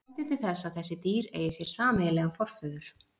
Það bendir til þess að þessi dýr eigi sér sameiginlegan forföður.